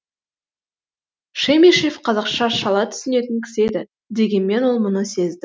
шемишев қазақша шала түсінетін кісі еді дегенмен ол мұны сезді